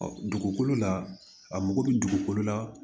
Ɔ dugukolo la a mago bɛ dugukolo la